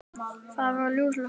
Það var ljúfsár stund.